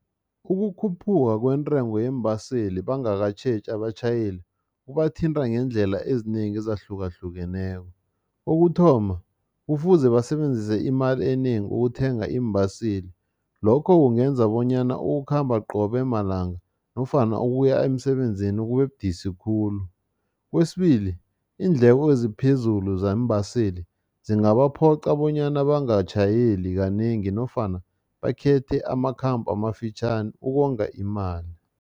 Ukukhuphuka kwentengo yeembaseli bangakatjheji abatjhayeli, kubathinta ngeendlela ezinengi ezahlukahlukeneko. Kokuthoma, kufuze basebenzise imali enengi ukuthenga iimbaseli, lokho kungenza bonyana ukukhamba qobe malanga nofana ukuya emsebenzini kubebudisi khulu. Kwesibili, iindleko eziphezulu zeembaseli zingabaphoqa bonyana bangatjhayeli kanengi nofana bakhethe amakhambo amafitjhani ukonga imali.